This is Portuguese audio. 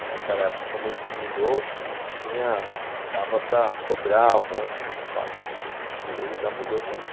Naquela época, quando a gente mudou, tinha... dava para sobrar um monte de espaço, o que hoje já mudou tudo.